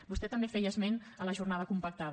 vostè també feia esment a la jornada compactada